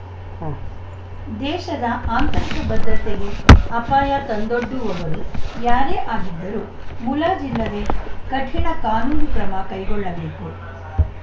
ಉಂ ಎಣ್ಣೆಬತ್ತಿಗೂ ಕಾಸಿಲ್ಲದ ಹೊತ್ತಲ್ಲಿ ಸಿದ್ಧಗಂಗಾ ಮಠದ ಪೀಠಾರೋಹಣ ಮಾಡಿ ಇಡೀ ದೇಶವೇ ತುಮಕೂರಿನತ್ತ ತಿರುಗುವಂತೆ ಮಾಡಿದ್ದ ನಡೆದಾಡುವ ದೇವರು ಉತ್ತರಾಯಣ ಪುಣ್ಯ ಕಾಲವಾದ ಸೋಮವಾರ ಬೆಳಗ್ಗೆ ಹನ್ನೊಂದಕ್ಕೆ ಶಿವೈಕ್ಯರಾದರು